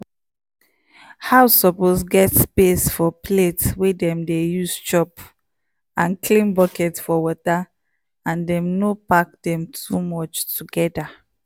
di tin wey dem dey use for di house no suppose get sharp mouth or sharp mouth or hole e fit wound